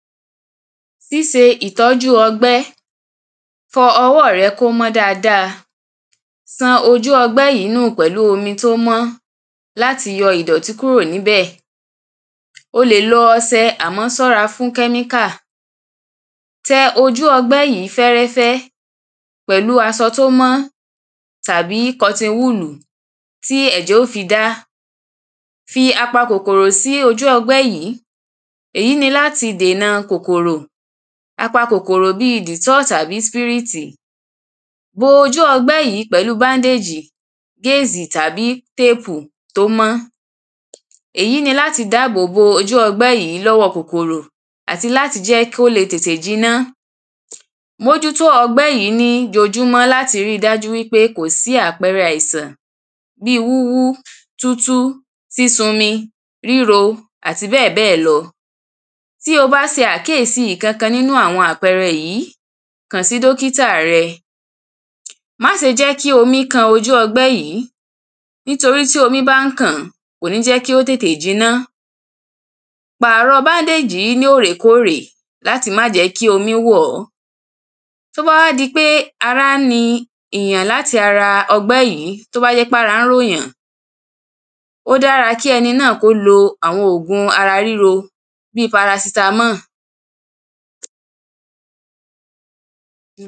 síse ìtọ́jú ọgbẹ́ fọ ọwọ́ rẹ kó mọ́ dáadáa san ojú ọgbẹ́ yìí nù pẹ̀lú omi tó mọ́ láti yọ ìdọ̀tín kúrò níbẹ̀ o lè lo osẹ àmọ́ sọ́ra fún kẹ́míkà tẹ ojú ọgbẹ́ yìí fẹ́rẹ́fẹ́ pẹ̀lú asọ tí ó mọ́ tàbí kọtinwúlù ti ẹ̀jẹ̀ ó fi dá fi apakòkòrò sí ojú ọgbẹ́ yìí èyí ni láti dènà kòkòrò apakòkòrò bi dìtọ́ì tàbí sípírítì bo ojú ọgbẹ́ yí pẹ̀lú bándéjì, gesi tàbí tépù tó mọ́ èyí ni láti dábòbo ojú ọgbẹ́ yìí lọ́wọ́ kòkòrò àti láti jẹ́ kó lè tètè jiná mójútó ọgbẹ́ yí ní ojojúmọ́ láti ri dájú pé kò sí àpẹrẹ àìsàn bi wúwú, tútú, sísunmi, ríro àti bẹ́ẹ̀bẹ́ẹ̀lọ tí o bá se àkíyèsí ìkankan nínú àpẹrẹ yí, kàn sí dọ́kítà rẹ má se jẹ́ kí omi kan ojú ọgbẹ́ yìí, nítorí tí omi bá ń kàn-án, kò ní jẹ́ kí ó tètè jiná pàrọ̀ bándéjì yí ní òrèkórè láti máà jẹ́ kí omi wọ̀ọ́ tó bá wá jẹ́ pé ara ń ni èyàn láti ara ọgbẹ́ yìí, tó bá jẹ́ pé ara ń ròyàn ó dára kẹ́ni náà kó lo àwọn ògùn ara ríro bi parasitamọ́ọ̀